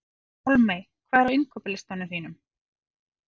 Pálmey, hvað er á innkaupalistanum mínum?